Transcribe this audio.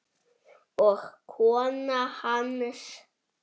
og kona hans.